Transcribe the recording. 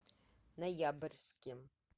ноябрьске